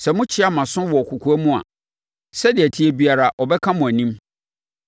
Sɛ mokyeaa mo aso wɔ kɔkoam a, sɛdeɛ ɛteɛ biara, ɔbɛka mo anim.